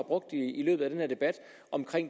brugt i løbet af den her debat om